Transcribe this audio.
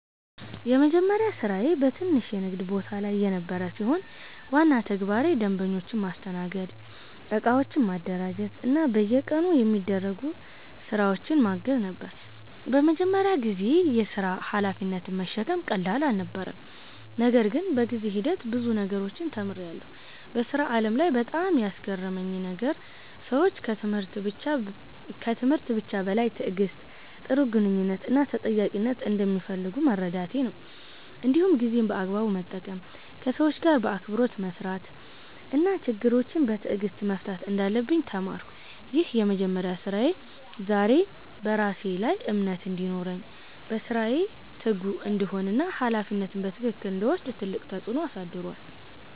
የመጀመሪያ ስራዬ በትንሽ የንግድ ቦታ ላይ የነበረ ሲሆን፣ ዋና ተግባሬ ደንበኞችን ማስተናገድ፣ እቃዎችን ማደራጀት እና በየቀኑ የሚደረጉ ስራዎችን ማገዝ ነበር። በመጀመሪያ ጊዜ የሥራ ሀላፊነትን መሸከም ቀላል አልነበረም፣ ነገር ግን በጊዜ ሂደት ብዙ ነገሮችን ተምሬያለሁ። በሥራ ዓለም ላይ በጣም ያስገረመኝ ነገር ሰዎች ከትምህርት ብቻ በላይ ትዕግሥት፣ ጥሩ ግንኙነት እና ተጠያቂነትን እንደሚፈልጉ መረዳቴ ነበር። እንዲሁም ጊዜን በአግባቡ መጠቀም፣ ከሰዎች ጋር በአክብሮት መስራት እና ችግሮችን በትዕግሥት መፍታት እንዳለብኝ ተማርኩ። ይህ የመጀመሪያ ስራዬ ዛሬ በራሴ ላይ እምነት እንዲኖረኝ፣ በስራዬ ትጉ እንድሆን እና ሀላፊነትን በትክክል እንድወስድ ትልቅ ተጽዕኖ አሳድሯል።